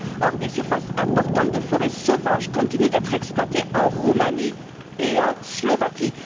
Or, des surfaces importantes de forêts sauvages continuent d'être exploitées en Roumanie et en Slovaquie.